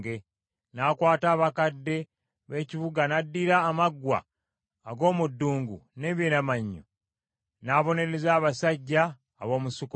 N’akwata abakadde b’ekibuga n’addira amaggwa ag’omu ddungu n’emyeramannyo n’abonereza abasajja ab’omu Sukkosi.